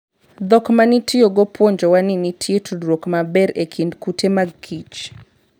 Dhok ma nitiyogo puonjowa ni nitie tudruok maber e kind kute mag kich.